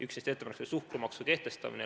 Üks neist ettepanekutest oli suhkrumaksu kehtestamine.